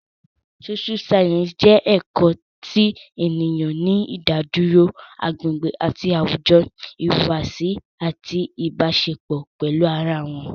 Sóṣú sáyẹ́ǹsì jẹ́ ẹ̀kọ́ ti ènìyàn ní ìdádúró, agbègbè àti àwùjọ, ìhùwàsí àti Ìbáṣepọ̀ pẹ̀lú ara wọn